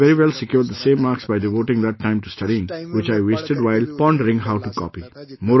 I could have very well secured the same marks by devoting that time to studying, which I wasted while pondering how to copy